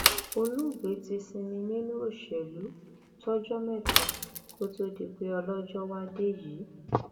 olóògbé ti sinmi nínú òṣèlú tọjọ mẹta kó tóó di pé ọlọjọ wàá dé yìí